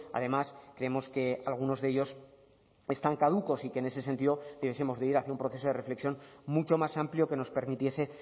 además creemos que algunos de ellos están caducos y que en ese sentido debiesemos de ir hacia un proceso de reflexión mucho más amplio que nos permitiese